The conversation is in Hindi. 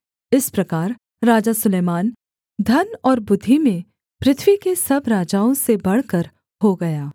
इस प्रकार राजा सुलैमान धन और बुद्धि में पृथ्वी के सब राजाओं से बढ़कर हो गया